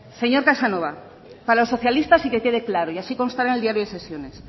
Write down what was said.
señor casanova para los socialistas y que quede claro y así constará en el diario de sesiones